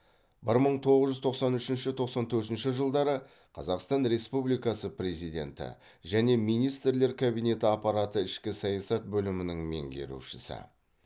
бір мың тоғыз жүз тоқсан үшінші тоқсан төртінші жылдары қазақстан республикасы президенті және министрлер кабинеті аппараты ішкі саясат бөлімінің меңгерушісі